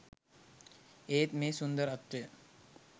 ඒත් මේ සුන්දරත්වය